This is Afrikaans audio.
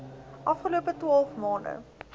afgelope twaalf maande